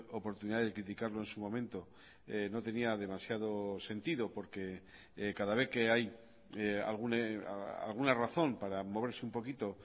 oportunidad de criticarlo en su momento no tenía demasiados sentido porque cada vez que hay alguna razón para moverse un poquito